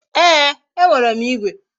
Ee, e nwere m igwe